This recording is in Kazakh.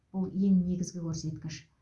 бұл ең негізгі көрсеткіш